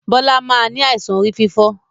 Bọlá máa ni àìsàn orí fífọ́